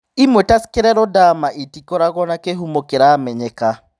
Ĩmwe ta scleroderma, ĩtĩkoragũo na kĩhumo kĩramenyeka.